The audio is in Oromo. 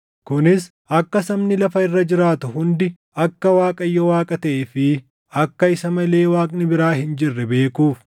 kunis akka sabni lafa irra jiraatu hundi akka Waaqayyo Waaqa taʼee fi akka isa malee Waaqni biraa hin jirre beekuuf.